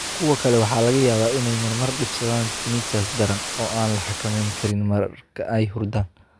Kuwa kale waxaa laga yaabaa inay marmar dhibsadaan tinnitus daran, oo aan la xakamayn karin marka ay hurdaan.